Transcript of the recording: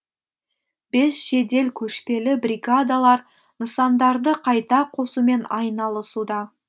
бес жедел көшпелі бригадалар нысандарды қайта қосумен айналысуда